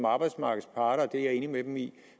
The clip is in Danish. arbejdsmarkedets parter og det er jeg enig med dem i